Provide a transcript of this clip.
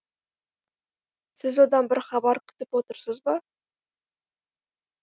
сіз одан бір хабар күтіп отырсыз ба